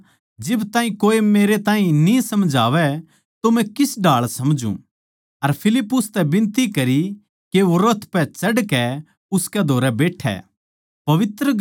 वो बोल्या जिब ताहीं कोए मेरै ताहीं न्ही समझावै तो मै किस ढाळ समझूँ अर फिलिप्पुस तै बिनती करी के वो रथ पै चढ़कै उसकै धोरै बैट्ठै